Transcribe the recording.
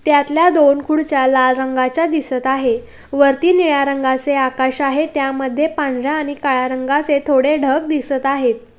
त्यातल्या दोन खुर्च्या लाल रंगाच्या दिसत आहे वरती निळा रंगाचे आकाश आहे त्यामध्ये पांढऱ्या आणि काळ्या रंगाचे थोडे ढग दिसत आहेत.